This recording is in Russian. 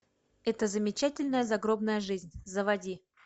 эта замечательная загробная жизнь заводи